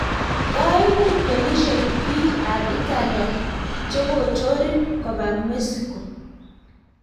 koimut polisiek biik ab italia chekochorin kobaa Mexico